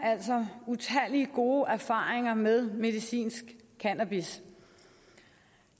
altså utallige gode erfaringer med medicinsk cannabis